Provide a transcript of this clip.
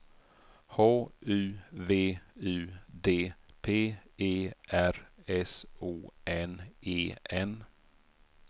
H U V U D P E R S O N E N